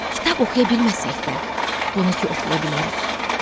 "Kitab oxuya bilməsək də, bunu ki oxuya bilərik."